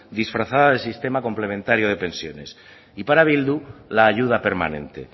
disfrazada de sistema complementario de pensiones y para bildu la ayuda permanente